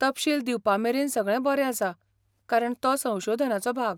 तपशील दिवपामेरेन सगळें बरें आसा, कारण तो संशोधनाचो भाग.